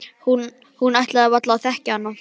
Hún ætlaði varla að þekkja hana.